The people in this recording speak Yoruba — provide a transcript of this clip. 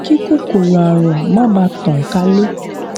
kí kòkòrò àrùn má bàa tàn kálè